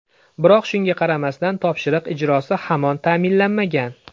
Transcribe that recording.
Biroq shunga qaramasdan, topshiriq ijrosi hamon ta’minlanmagan.